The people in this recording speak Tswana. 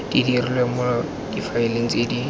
dirilwe mo difaeleng tse di